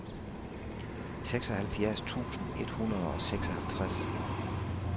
seksoghalvfjerds tusind et hundrede og seksoghalvtreds